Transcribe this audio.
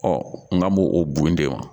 n ka m'o o bon de wa